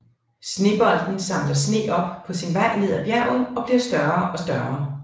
Snebolden samler sne op på sin vej ned af bjerget og bliver større og større